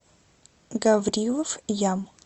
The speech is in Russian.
гаврилов ям